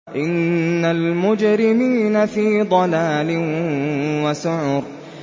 إِنَّ الْمُجْرِمِينَ فِي ضَلَالٍ وَسُعُرٍ